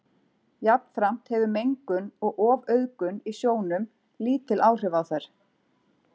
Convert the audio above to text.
Jafnframt hefur mengun og ofauðgun í sjónum lítil áhrif á þær.